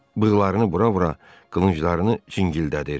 Bığlarını bura-bura qılınclarını cingildədir.